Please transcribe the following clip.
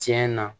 Tiɲɛ na